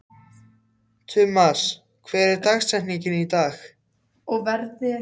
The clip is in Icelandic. Tumas, hver er dagsetningin í dag?